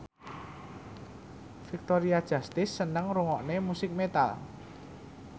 Victoria Justice seneng ngrungokne musik metal